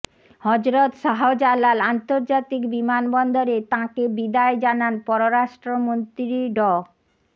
হযরত শাহজালাল আন্তর্জাতিক বিমানবন্দরে তাঁকে বিদায় জানান পররাষ্ট্রমন্ত্রী ড